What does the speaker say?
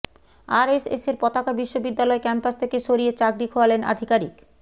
আরএসএসের পতাকা বিশ্ববিদ্যালয় ক্যাম্পাস থেকে সরিয়ে চাকরি খোয়ালেন আধিকারিক